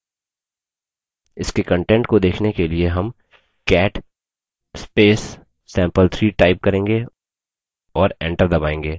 इसके कंटेंट को देखने के लिए हम cat sample3 type करेंगे और enter दबायेंगे